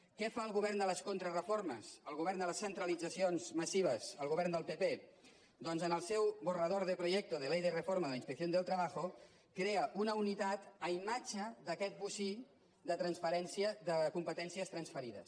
què fa el govern de les contrareformes el govern de les centralitzacions massives el govern del pp doncs en el seu borrador de proyecto de ley de reforma de la inspección del trabajo crea una unitat a imatge d’aquest bocí de competències transferides